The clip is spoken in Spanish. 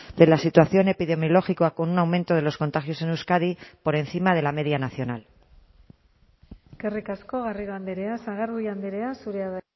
de la situación epidemiológica con un aumento de los contagios en euskadi por encima de la media nacional eskerrik asko garrido andrea sagardui andrea zurea da